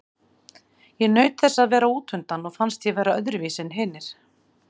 Ég naut þess að vera útundan og fannst ég vera öðruvísi en hinir.